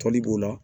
Tɔli b'o la